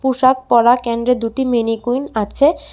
পোশাক পরা ক্যাণ্ডে দুটি মেনীকুইন আছে।